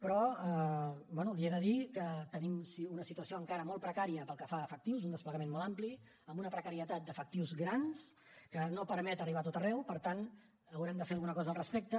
però bé li he de dir que tenim una situació encara molt precària pel que fa a efectius un desplegament molt ampli amb una precarietat d’efectius gran que no permet arribar a tot arreu per tant haurem de fer alguna cosa al respecte